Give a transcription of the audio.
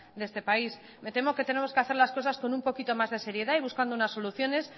de este país me temo que tenemos que hacer las cosas con un poquito más de seriedad y buscando unas soluciones